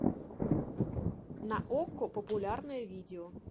на окко популярные видео